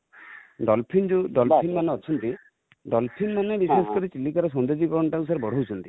dolphin ଯୋଉ ,dolphin ମାନେ ଅଛନ୍ତି, dolphin ମାନେ ବିଶେଷ କରି ଚିଲିକା ର ସୌନ୍ଦର୍ୟକରଣଟା କୁ sir ବଢାଉଛନ୍ତି |